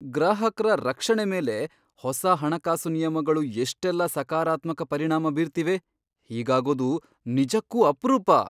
ಗ್ರಾಹಕ್ರ ರಕ್ಷಣೆ ಮೇಲೆ ಹೊಸ ಹಣಕಾಸು ನಿಯಮಗಳು ಎಷ್ಟೆಲ್ಲ ಸಕಾರಾತ್ಮಕ ಪರಿಣಾಮ ಬೀರ್ತಿವೆ, ಹೀಗಾಗೋದು ನಿಜಕ್ಕೂ ಅಪ್ರೂಪ!